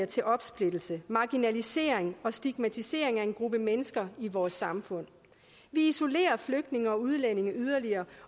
til opsplittelse marginalisering og stigmatisering af en gruppe mennesker i vores samfund vi isolerer flygtninge og udlændinge yderligere